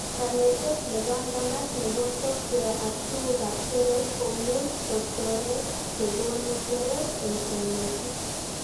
Kanetet nebanganat nebo software ak tugukab keret komuch kotoret chekonu keret eng konetik